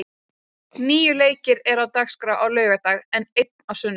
Níu leikir eru á dagskrá á laugardag, en einn á sunnudag.